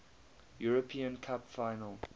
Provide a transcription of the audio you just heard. european cup final